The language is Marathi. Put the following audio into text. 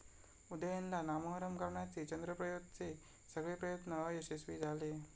उदयनला नामोहरम करण्याचे चंद्रप्रयोतचे सगळे प्रयत्न अयशस्वी झाले.